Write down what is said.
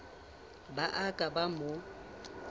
ba a ka ba mo